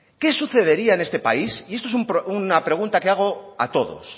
qué sucedería en este país y esto es una pregunta que hago a todos